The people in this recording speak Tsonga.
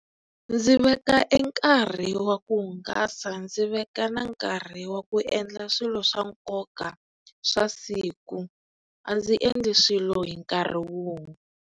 Ndzi veka e nkarhi wa ku hungasa ndzi veka na nkarhi wa ku endla swilo swa nkoka swa siku a ndzi endli swilo hi nkarhi wun'we.